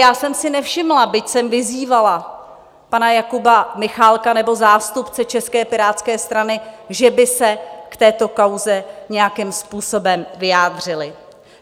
Já jsem si nevšimla, byť jsem vyzývala pan Jakuba Michálka nebo zástupce České pirátské strany, že by se k této kauze nějakým způsobem vyjádřili.